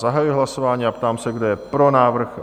Zahajuji hlasování a ptám se, kdo je pro návrh?